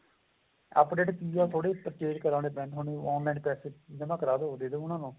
update ਕਿ ਏ ਥੋੜੇ ਜ਼ੇ purchase ਕਰਾਉਣੇ ਪੈਣੇ ਏ online package ਠੀਕ ਏ ਨਾ ਕਰਾਦੋ ਦੇਦੋ ਉਹਨਾ ਨੂੰ